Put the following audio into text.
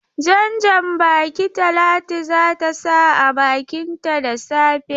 Jan-baki Talatu za ta sa a bakinta da safe.